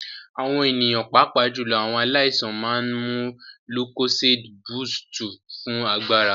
Àwọn ènìyàn pàápàá jùlọ àwọn aláìsàn máa ń mu lúkóséédí búsúùtù fún agbára.